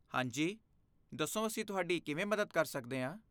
ਹਾਂ ਜੀ, ਦੱਸੋ ਅਸੀਂ ਤੁਹਾਡੀ ਕਿਵੇਂ ਮੱਦਦ ਕਰ ਸਕਦੇ ਹਾਂ?